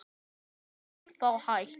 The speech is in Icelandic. Ef það er þá hægt.